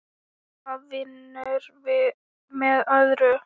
Hvað vinnur með öðru.